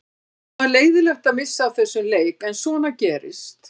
Það var leiðinlegt að missa af þessum leik en svona gerist.